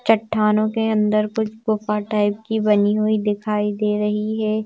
चट्टानों के अंदर कुछ गुफा टाइप की बनी हुई दिखाई दे रही है।